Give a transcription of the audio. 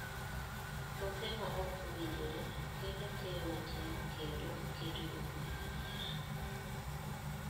Kothe ma ok owinjore kelo keyo matin kendo keto jopur e dhier.